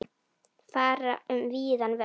Fara um víðan völl.